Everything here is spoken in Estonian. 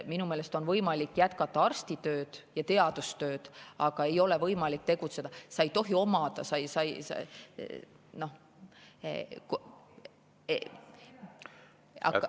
Minu meelest on võimalik jätkata arstitööd ja teadustööd, aga ei ole võimalik tegutseda, sa ei tohi omada …